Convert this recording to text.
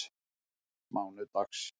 mánudags